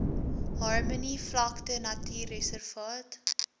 harmony vlakte natuurreservaat